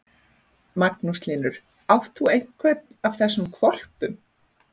Magnús Hlynur: Átt þú einhvern af þessum hvolpum?